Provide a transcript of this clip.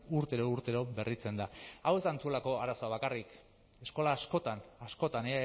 urtero urtero berritzen da hau ez da antzuolako arazoa bakarrik eskola askotan askotan